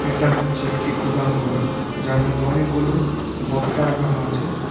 এটা হচ্ছে একটি গুদাম ঘর যার মদ্যে অনেকগুলো বস্তা রাখানো আছে।